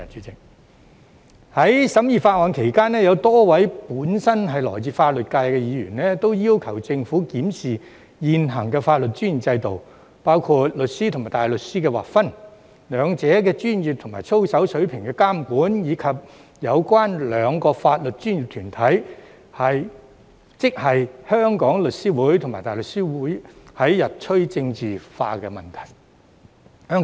在審議法案期間，有多位本身來自法律界的議員均要求政府檢視現行的法律專業制度，包括律師與大律師的劃分、兩者的專業及操守水平的監管，以及有關兩個法律專業團體——即香港律師會及香港大律師公會——日趨政治化的問題。